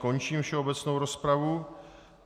Končím všeobecnou rozpravu.